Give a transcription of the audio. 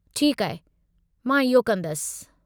ठीकु आहे, मां इहो कंदसि।